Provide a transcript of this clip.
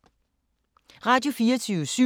Radio24syv